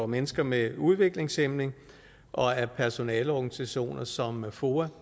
mennesker med udviklingshæmning og af personaleorganisationer som foa